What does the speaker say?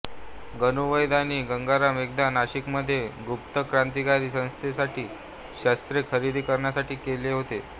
गणू वैद्य आणि गंगाराम एकदा नाशिकमधील गुप्त क्रांतिकारी संस्थेसाठी शस्त्रे खरेदी करण्यासाठी केले होते